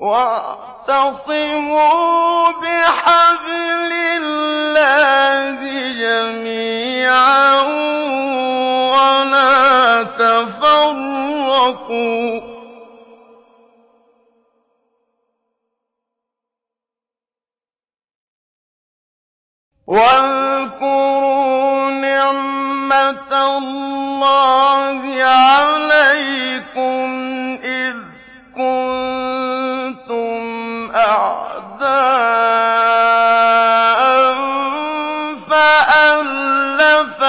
وَاعْتَصِمُوا بِحَبْلِ اللَّهِ جَمِيعًا وَلَا تَفَرَّقُوا ۚ وَاذْكُرُوا نِعْمَتَ اللَّهِ عَلَيْكُمْ إِذْ كُنتُمْ أَعْدَاءً فَأَلَّفَ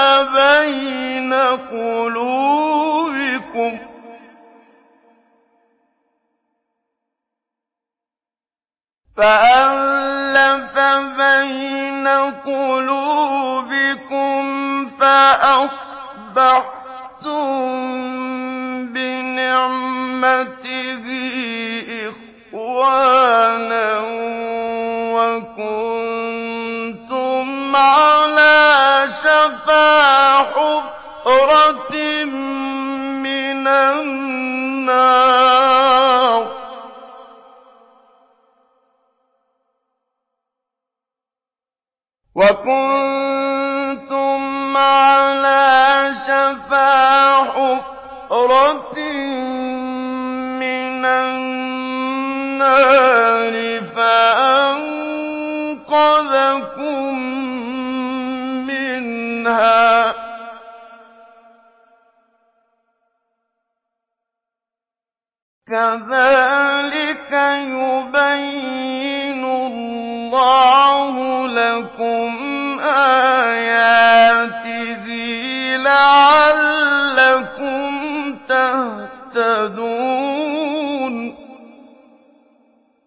بَيْنَ قُلُوبِكُمْ فَأَصْبَحْتُم بِنِعْمَتِهِ إِخْوَانًا وَكُنتُمْ عَلَىٰ شَفَا حُفْرَةٍ مِّنَ النَّارِ فَأَنقَذَكُم مِّنْهَا ۗ كَذَٰلِكَ يُبَيِّنُ اللَّهُ لَكُمْ آيَاتِهِ لَعَلَّكُمْ تَهْتَدُونَ